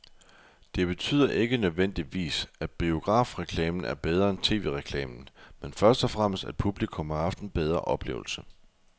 Det betyder ikke nødvendigvis, at biografreklamen er bedre end tv-reklamen, men først og fremmest at publikum har haft en bedre oplevelse.